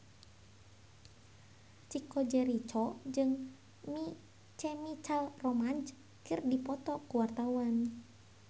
Chico Jericho jeung My Chemical Romance keur dipoto ku wartawan